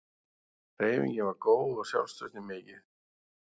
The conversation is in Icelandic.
Hreyfingin var góð og sjálfstraustið mikið.